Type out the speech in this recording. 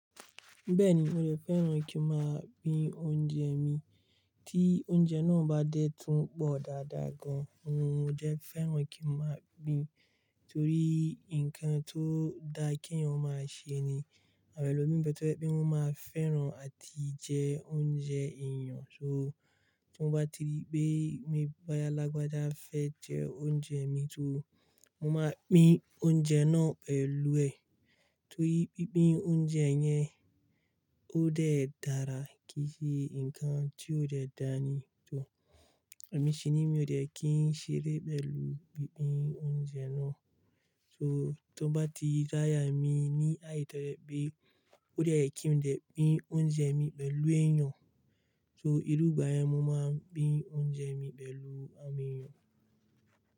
Bẹ́ẹ̀ni, mo lè fẹ́ràn kí n máa pín oúnjẹ mi. Tí oúnjẹ náà bá dé tún pọ̀ dáadáa gan, mo jẹ fẹ́ràn kí n máa pín, torí ǹkan tó da kí èèyàn máa ṣe ni, àwọn ẹlòmíràn lè fẹ́ràn pé wọ́n máa fẹ́ràn àti jẹ oúnjẹ èèyàn. So tí wọ́n bá ti rí pé mi boyá lagbájà fẹ́ jẹ oúnjẹ mi, so mo máa pín oúnjẹ náà pẹ̀lú ẹ̀. Torí pínpín oúnjẹ yẹn ó dẹ̀ dára kìí ṣe ǹkan tí ó dẹ̀ dáa ni. So èmi sì ní mo dẹ̀ kí n ṣeré pẹ̀lú pínpín oúnjẹ náà. So tí wọ́n bá ti ráyà mi ní àìtọ́ pé ó dẹ̀ kí n jẹ pín oúnjẹ mi pẹ̀lú èèyàn, so irú ìgbà yẹn mo máa pín oúnjẹ mi pẹ̀lú àwọn èèyàn.